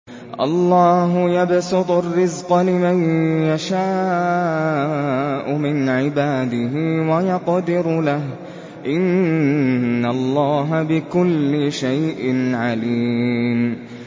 اللَّهُ يَبْسُطُ الرِّزْقَ لِمَن يَشَاءُ مِنْ عِبَادِهِ وَيَقْدِرُ لَهُ ۚ إِنَّ اللَّهَ بِكُلِّ شَيْءٍ عَلِيمٌ